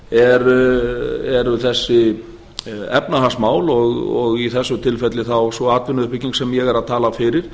eru þessi efnahagsmál og í þessu tilfelli þá sú atvinnuuppbygging sem ég er að tala fyrir